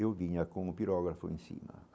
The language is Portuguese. Eu vinha com o pirógrafo em cima.